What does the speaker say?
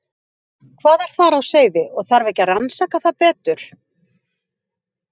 Hvað er þar á seyði og þarf ekki að rannsaka það betur?